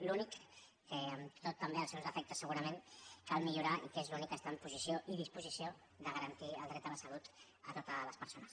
l’únic que amb tot també els seus defectes segurament cal millorar i que és l’únic que està en posició i disposició de garantir el dret a la salut a totes les persones